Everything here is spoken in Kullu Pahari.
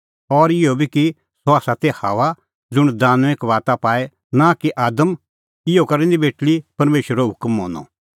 और इहअ बी कि सह ती हव्वा ज़ुंण दानुईं कबाता पाई नां कि आदम इहअ करै निं बेटल़ी परमेशरो हुकम मनअ